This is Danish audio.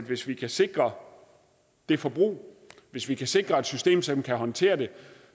hvis vi kan sikre det forbrug og hvis vi kan sikre et system som kan håndtere det